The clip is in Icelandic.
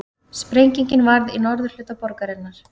Sprengingin varð í norðurhluta borgarinnar